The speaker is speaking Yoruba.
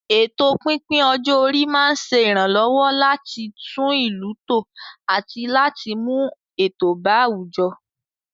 Ètò pípín ọjọ́ orí máa ń ṣe ìrànlọ́wọ́ láti tún ìlú tò àti láti mú ètò bá àwùjọ.